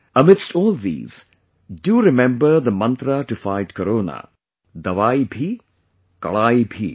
Amidst all these, do remember the mantra to fight corona dawaayibhikadaayibhi